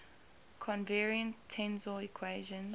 covariant tensor equations